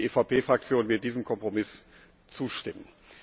Und die EVP Fraktion wird diesem Kompromiss zustimmen.